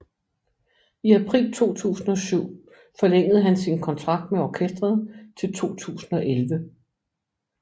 I april 2007 forlængede han sin kontrakt med orkestret til 2011